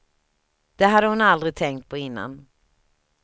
Det hade hon aldrig tänkt på innan.